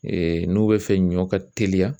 Ee n'u bɛ fɛ ɲɔ ka teliya.